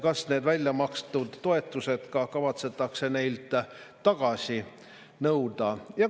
Kas need väljamakstud toetused kavatsetakse neilt tagasi nõuda?